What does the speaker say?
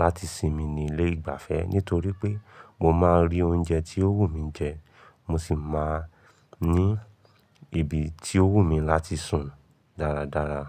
láti sinmi ni ilé ìgbafẹ́, nítorí pé mo máa rí oúnjẹ tí ó wù mí jẹ, mo sì máa ní ibi tí ó wù mí láti sùn dáradára.